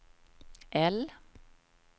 L